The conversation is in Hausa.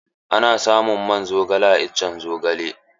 Ana samun man zogale a iccen zogale.